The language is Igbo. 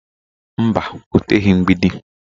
Mba, o teghị mgbidi